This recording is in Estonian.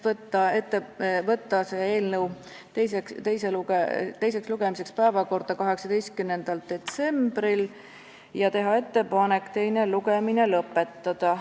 Otsustati saata see eelnõu teiseks lugemiseks päevakorda 18. detsembriks ja teha ettepanek teine lugemine lõpetada.